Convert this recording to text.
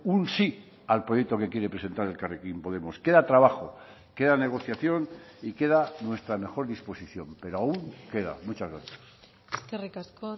un sí al proyecto que quiere presentar elkarrekin podemos queda trabajo queda negociación y queda nuestra mejor disposición pero aún queda muchas gracias eskerrik asko